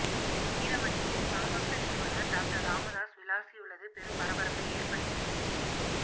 வீரமணியை பாமக நிறுவனர் டாக்டர் ராமதாஸ் விளாசியுள்ளது பெரும் பரபரப்பை ஏற்படுத்தியுள்ளது